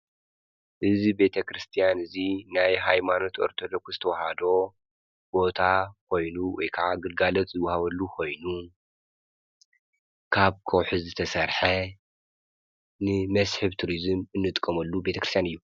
እዝ ቤተ ክርስቲያን እዙይ ናይ ኃይማኖት ወርተሎኹስተወሃዶ ቦታ ኾይኑ ወካዓ ግልጋለት ዝውሃበሉ ኾይኑ ካብ ኮሑ ዝተሠርሐ ንመስሕብ ቱርዝም እንጥቆመሉ ቤተ ክርስቲያን እዩ።